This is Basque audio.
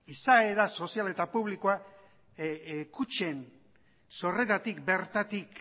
izaera sozial eta publikoa kutxen sorreratik bertatik